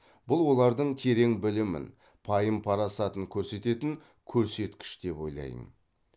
бұл олардың терең білімін пайым парасатын көрсететін көрсеткіш деп ойлаймын